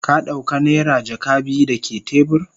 Ka dauka naira jaka biyu dake tebur?